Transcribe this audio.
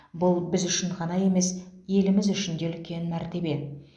бұл біз үшін ғана емес еліміз үшін де үлкен мәртебе